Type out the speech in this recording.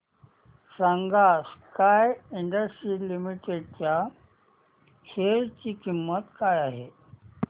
सांगा Sky Industries Limited च्या share ची किंमत काय आहे